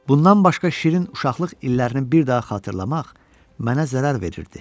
Bundan başqa şirin uşaqlıq illərini bir daha xatırlamaq mənə zərər verirdi.